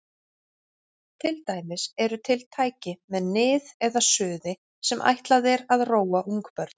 Til dæmis eru til tæki með nið eða suði sem ætlað er að róa ungbörn.